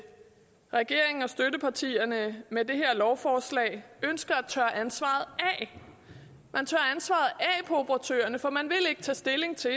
regeringen og støttepartierne med det her lovforslag ønsker at tørre ansvaret af på operatørerne for man vil ikke tage stilling til